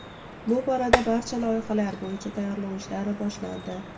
Bu borada barcha loyihalar bo‘yicha tayyorlov ishlari boshlandi.